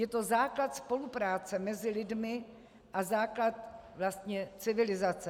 Je to základ spolupráce mezi lidmi a základ vlastně civilizace.